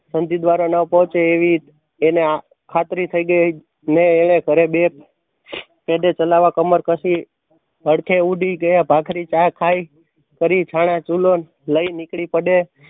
ન પોહંચે એવી એને ખાતરી થય ગય ને એણે ઘરે બે પેઠે ચલાવવા કમર કશી હળખે ઉડી ગયા ભાખરી ચા ખાઈ કરી છાના ચૂલો લઇ નીકળી પડે.